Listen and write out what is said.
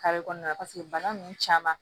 kɔnɔna la bana ninnu caman